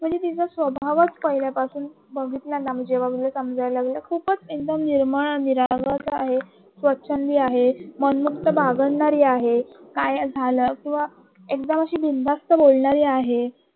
स्वभावच पहिल्यापासून बघितल ना त्यांना जेव्हा मी तिला समजायला लगल खूपच निर्मळ निरागस संधी आहे मन मुक्त बागडणारी आहे काय झाल एकदम असं बिनधास्त बोलणारी आहे